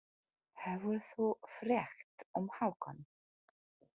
Hefur þú frétt um Hákon?